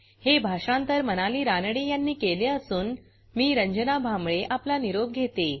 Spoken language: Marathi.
हे भाषांतर मनाली रानडे यांनी केले असून मी रंजना भांबळे आपला निरोप घेते